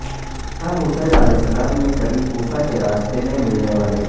امام حسین ع نے کبھی کوفہ کے راستے میں ملنے والے